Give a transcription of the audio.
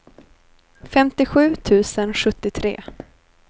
femtiosju tusen sjuttiotre